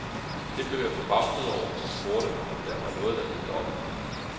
Det blev jeg forbavset over, og spurgte, om der var noget der hed dobbelte.